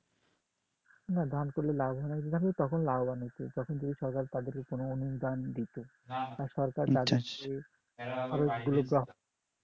না ধান করলে লাভবান হয়তো যখন তখন লাভবান হতো, যখন সরকার তাদের কোন অনুদান দিত সরকার তাদের অনেকগুলো